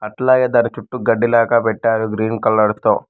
అలాగే దాని చుట్టూ గడ్డి లేక పెట్టారు గ్రీన్ కలర్ తో.